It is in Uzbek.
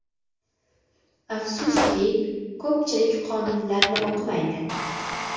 Afsuski, ko‘pchilik qonunlarni o‘qimaydi.